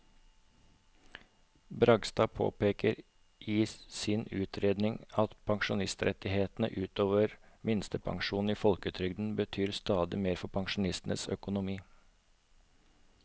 Bragstad påpeker i sin utredning at pensjonsrettighetene ut over minstepensjonen i folketrygden betyr stadig mer for pensjonistenes økonomi.